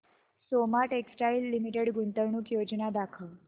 Soma textile limited गुंतवणूक योजना दाखव